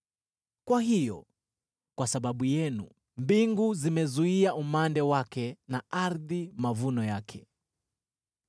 Kwa hiyo, kwa sababu yenu mbingu zimezuia umande wake na ardhi mavuno yake.